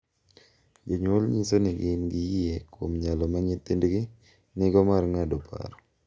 Jonyuol nyiso ni gin gi yie kuom nyalo ma nyithindgi nigo mar ng’ado paro .